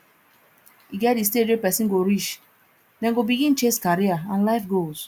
e get di stage wey person go reach dem go begin chase career and life goals